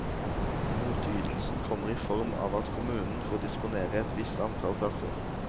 Motytelsen kommer i form av at kommunen får disponere et visst antall plasser.